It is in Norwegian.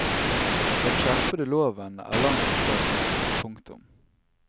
Den skjerpede loven er langt bak mål. punktum